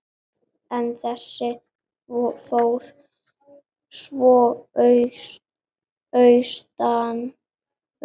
En þessi fór svo austur.